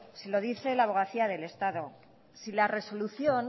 se lo dice la abogacía del estado si la resolución